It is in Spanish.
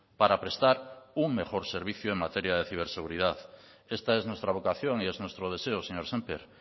para prestar un mejor servicio en materia de ciberseguridad esta es nuestra vocación y es nuestro deseo señor sémper